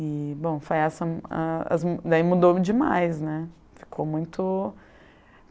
E bom, foi essa hm a as, daí mudou demais, né, ficou muito